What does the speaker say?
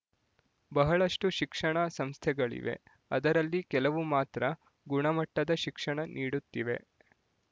ಬಹಳಷ್ಟು ಶಿಕ್ಷಣ ಸಂಸ್ಥೆಗಳಿವೆ ಅದರಲ್ಲಿ ಕೆಲವು ಮಾತ್ರ ಗುಣಮಟ್ಟದ ಶಿಕ್ಷಣ ನೀಡುತ್ತಿವೆ